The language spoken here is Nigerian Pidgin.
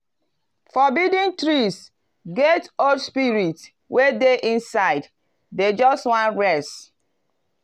forbidden trees get old spirits wey dey inside dem just wan rest.